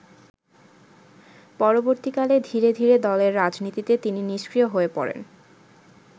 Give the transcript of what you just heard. পরবর্তীকালে ধীরে ধীরে দলের রাজনীতিতে তিনি নিস্ক্রিয় হয়ে পড়েন।